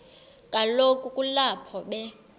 kaloku kulapho be